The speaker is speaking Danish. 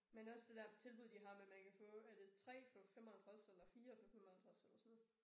Men også det der tilbud de har med man kan få er det 3 for 55 eller 4 for 55 eller sådan noget